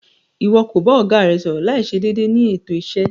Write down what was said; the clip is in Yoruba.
Iwọ ko ba ọga rẹ sọrọ laiṣe deede ni eto iṣe